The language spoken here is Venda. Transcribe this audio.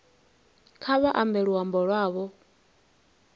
kha vha ambe luambo lwavho